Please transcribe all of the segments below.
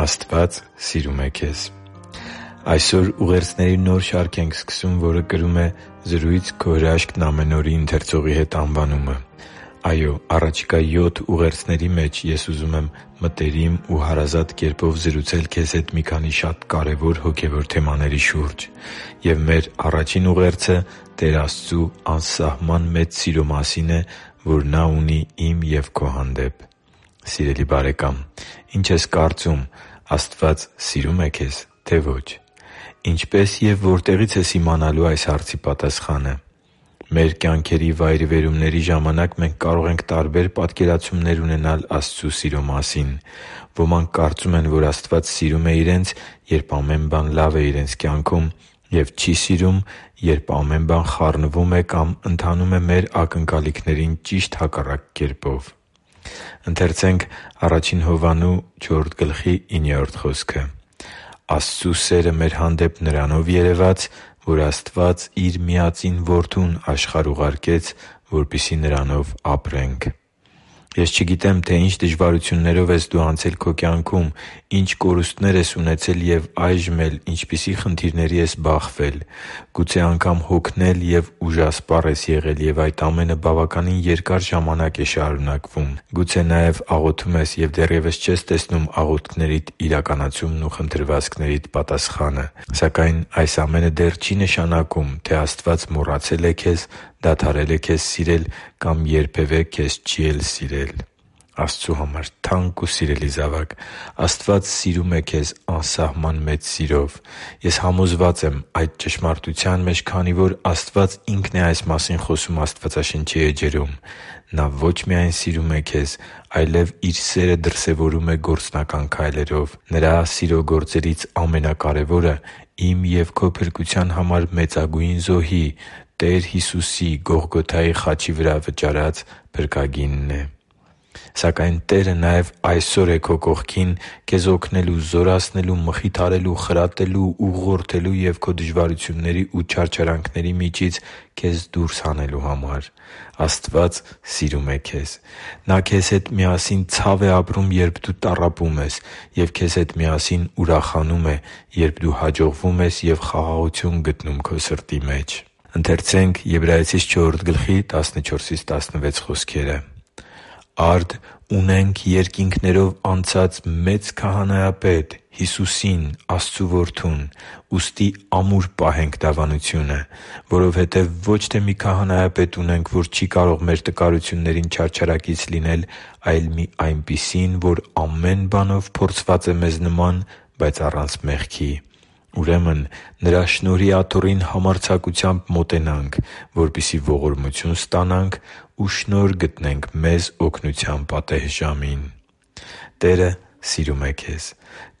Աստված սիրում է քեզ Այսօր ուղերձների նոր շարք ենք սկսում, որը կրում է «Զրույց«Քո հրաշքն՝ ամեն օր»-ի ընթերցողի հետ» անվանումը։ Այո՛, առաջիկա յոթ ուղերձների մեջ ես ուզում եմ մտերիմ ու հարազատ կերպով զրուցել քեզ հետ մի քանի շատ կարևոր հոգևոր թեմաների շուրջ։ Եվ մեր առաջին ուղերձը Տեր Աստծու անսահման մեծ սիրո մասին է, որ Նա ունի իմ և քո հանդեպ։ Սիրելի՛ բարեկամ, ի՞նչ ես կարծում՝ Աստված սիրո՞ւմ է քեզ, թե՞ ոչ։ Ինչպե՞ս և որտեղի՞ց ես իմանալու այս հարցի պատասխանը։ Մեր կյանքի վայրիվերումների ժամանակ մենք կարող ենք տարբեր պատկերացումներ ունենալ Աստծու սիրո մասին։ Ոմանք կարծում են, որ Աստված սիրում է իրենց, երբ ամեն բան լավ է իրենց կյանքում, և չի սիրում, երբ ամեն բան խառնվում է կամ ընթանում է մեր ակնկալիքներին ճիշտ հակառակ կերպով։ «Աստծու սերը մեր հանդեպ նրանով երևաց, որ Աստված Իր միածին Որդուն աշխարհ ուղարկեց, որպեսզի Նրանով ապրենք» (Ա Հովհաննես 4:9): Ես չգիտեմ, թե ինչ դժվարություններով ես դու անցել քո կյանքում, ինչ կորուստներ ես ունեցել և այժմ էլ ինչպիսի խնդիրների ես բախվել։ Գուցե անգամ հոգնել և ուժասպառ ես եղել, և այդ ամենը բավականին երկար ժամանակ է շարունակվում։ Գուցե նաև աղոթում ես և դեռևս չես տեսնում աղոթքներիդ իրականացումն ու խնդրվածքներիդ պատասխանը։ Սակայն այս ամենը դեռ չի նշանակում, թե Աստված մոռացել է քեզ, դադարել է քեզ սիրել կամ երբևէ քեզ չի էլ սիրել։ Աստծու համար թանկ ու սիրելի՛ զավակ, Աստված սիրում է քեզ անսահման մեծ սիրով։ Ես համոզված եմ այդ ճշմարտության մեջ, քանի որ Աստված Ինքն է այս մասին խոսում Աստվածաշնչի էջերում։ Նա ո՛չ միայն սիրում է քեզ, այլև Իր սերը դրսևորում է գործնական քայլերով։ Նրա սիրո գործերից ամենակարևորը իմ և քո փրկության համար մեծագույն զոհի՝ Տեր Հիսուսի՝ Գողգոթայի խաչի վրա վճարած փրկագինն է։ Սակայն Տերը նաև այսօր է քո կողքին քեզ օգնելու, զորացնելու, մխիթարելու, խրատելու, ուղղորդելու և քո դժվարությունների ու չարչարանքների միջից քեզ դուրս հանելու համար։ Աստված սիրում է քեզ։ Նա քեզ հետ միասին ցավ է ապրում, երբ դու տառապում ես, և քեզ հետ միասին ուրախանում է, երբ դու հաջողվում ես և խաղաղություն գտնում քո սրտի մեջ։ «Արդ ունենք երկինքներով անցած մեծ Քահանայապետ՝ Հիսուսին՝ Աստծու Որդուն, ուստի ամուր պահենք դավանությունը։ Որովհետև ոչ թե մի քահանայապետ ունենք, որ չի կարող մեր տկարություններին չարչարակից լինել, այլ մի այնպիսին, որ ամեն բանով փորձված է մեզ նման, բայց առանց մեղքի է։ Ուրեմն Նրա շնորհի աթոռին համարձակությամբ մոտենանք, որպեսզի ողորմություն ստանանք ու շնորհ գտնենք մեզ օգնության պատեհ ժամին» (Եբրայեցիս 4․14-16): Տերը սիրում է քեզ։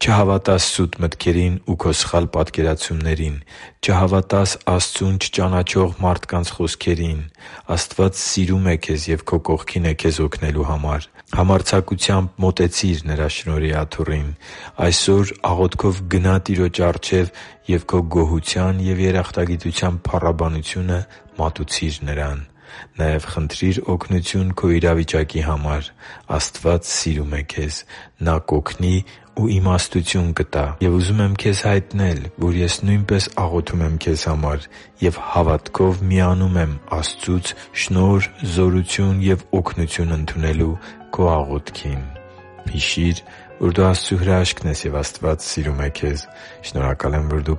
Չհավատա՛ս սուտ մտքերին ու քո սխալ պատկերացումներին։ Չհավատա՛ս Աստծուն չճանաչող մարդկանց խոսքերին։ Աստված սիրում է քեզ և քո կողքին է քեզ օգնելու համար։ Համարձակությամբ մոտեցի՛ր Նրա շնորհի աթոռին։ Այսօր աղոթքով գնա՛ Տիրոջ առջև ու քո գոհության և երախտագիտության փառաբանությունը մատուցի՛ր Նրան։ Նաև խնդրի՛ր օգնություն քո իրավիճակի համար։ Աստված սիրում է քեզ։ Նա կօգնի ու իմաստություն կտա։ Եվ ուզում եմ քեզ հայտնել, որ ես նույնպես աղոթում եմ քեզ համար և հավատքով միանում եմ Աստծուց շնորհ, զորություն և օգնություն ընդունելու քո աղոթքին։ Հիշի՛ր, որ դու Աստծո հրաշքն ես, և Աստված սիրում է քեզ։ Շնորհակալ եմ, որ դու